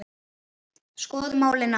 Skoðum málið nánar.